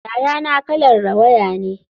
Yayana kalar rawaya ne.